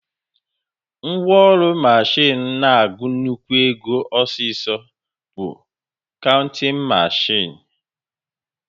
Ngwaọrụ mashin na-agụ nnukwu ego ọsịsọ bụ kauntịn mashin